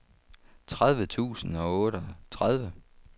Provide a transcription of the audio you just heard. tredive tusind og otteogtredive